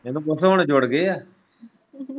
ਇੰਨੂ ਪੁੱਛ ਹੁਣ ਜੁੜ ਗਏ ਐਂ।